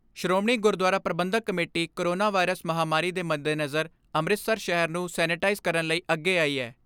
Shiromani Gurdwara Prabandhak committee corona virus ਮਹਾਂਮਾਰੀ ਦੇ ਮੱਦੇਨਜ਼ਰ ਅੰਮ੍ਰਿਤਸਰ ਸ਼ਹਿਰ ਨੂੰ ਸੈਨੇਟਾਈਜ਼ ਕਰਨ ਲਈ ਅੱਗੇ ਆਈ ਐ।